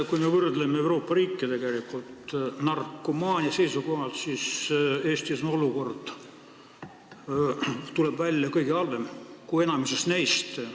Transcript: Kui me võrdleme Euroopa riike narkomaania seisukohalt, siis praktika näitab, et Eestis on olukord, tuleb välja, kõige halvem, st halvem kui enamikus nendes riikides.